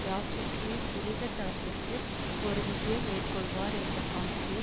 யாசுக்மி புனித தளத்திற்கு ஒரு விஜயம் மேற்கொள்வார் என்ற காட்சியை